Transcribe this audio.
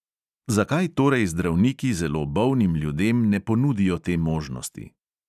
Zakaj torej zdravniki zelo bolnim ljudem ne ponudijo te možnosti?